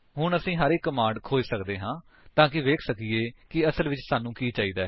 ਹੁਣ ਅਸੀ ਹਰ ਇੱਕ ਕਮਾਂਡਸ ਖੋਜ ਸਕਦੇ ਹਾਂ ਤਾਂਕਿ ਵੇਖ ਸਕੀਏ ਕਿ ਅਸਲ ਵਿੱਚ ਸਾਨੂੰ ਕੀ ਚਾਹਿਦਾ ਹੈ